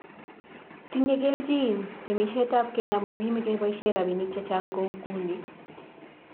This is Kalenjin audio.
Tinye kelchin temisietab keny amun kimakeboisien robinik chechang kou inguni